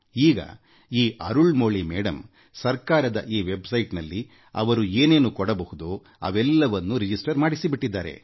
ಈಗ ಈ ಅರುಳ್ ಮೋಳಿ ಅವರುಸರ್ಕಾರದ ಈ ಅಂತರ್ಜಾಲ ತಾಣದಲ್ಲಿಅವರು ಏನೇನು ಪೂರೈಸಬಹುದೋ ಅವೆಲ್ಲವನ್ನೂ ನೋಂದಣಿ ಮಾಡಿಸಿಬಿಟ್ಟಿದ್ದಾರೆ